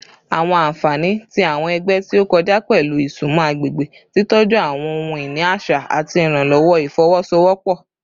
Awọn anfani ti awọn ẹgbẹ ti o kọja pẹlu isunmọ agbegbe, titọju ohun-ini aṣa, ati iranlọwọ ifowosowopo